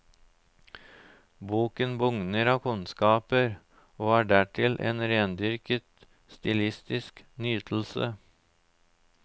Boken bugner av kunnskaper og er dertil en rendyrket stilistisk nytelse.